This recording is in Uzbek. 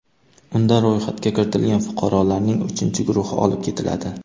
Unda ro‘yxatga kiritilgan fuqarolarning uchinchi guruhi olib ketiladi.